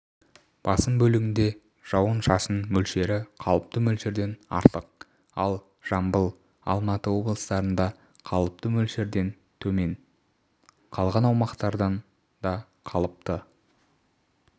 басым бөлігінде жауын-шашын мөлшері қалыпты мөлшерден артық ал жамбыл алматы облыстарында қалыпты мөлшердентөмен қалған аумақтардақалыпты